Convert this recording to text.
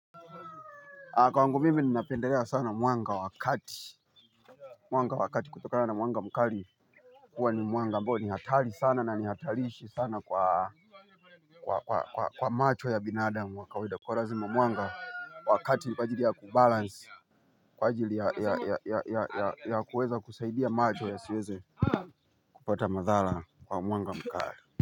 Kwangu mimi ninapendelea sana mwanga wa kati. Mwanga wa kati kutokana na mwanga mkali. Huwa ni mwanga ambao ni hatari sana na ni hatarishi sana kwa kwa macho ya binadamu wa kawaida kwa lazima mwanga wa kati ni kwa jili ya kubalans kwa jili ya kuweza kusaidia macho ya siweze kupata madhara kwa mwanga mkari.